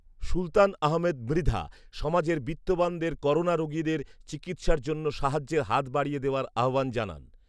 সুলতান আহমেদ মৃধা, সমাজের বিত্তবানদের করোনা রোগীদের চিকিৎসার জন্য সাহায্যের হাত বাড়িয়ে দেওয়ার আহ্বান জানান